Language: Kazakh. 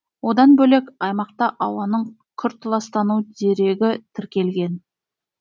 одан бөлек аймақта ауаның күрт ластану дерегі тіркелген